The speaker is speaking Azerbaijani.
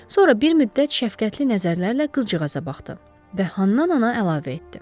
Sonra bir müddət şəfqətli nəzərlərlə qızcığaza baxdı və ahəstə əlavə etdi: